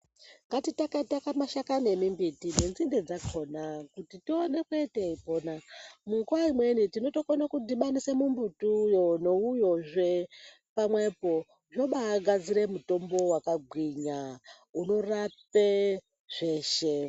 Ngatitake take mashakani emumbiti nenzinde dzakona kuti tioneke teipona. Munguwa imweni tinotokona kudhibanise mumbuti uyo neuyozve pamwepo tobagadzira mutombo wakagwinya unorape zveshe.